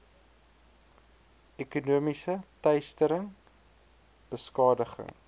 ekonomiese teistering beskadiging